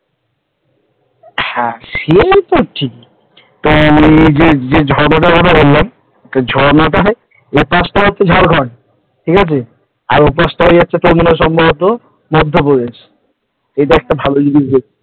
হ্যাঁ সে তো ঠিক আর ওই যে ঝর্ণাটার কথা বললাম ঝরনাটা ঝাড়খন্ড ঠিক আছে আর আরেকটা তোর সম্ভবত মধ্যপ্রদেশ। একটা ভালো জিনিস